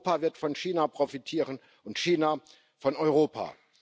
Europa wird von China profitieren und China von Europa.